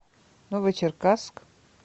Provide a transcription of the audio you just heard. новочеркасск